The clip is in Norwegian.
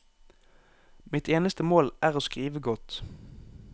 Mitt eneste mål er å skrive godt.